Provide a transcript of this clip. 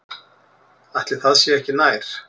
Ætli það sé ekki nær.